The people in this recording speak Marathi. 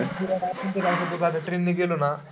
Train ने गेलो ना.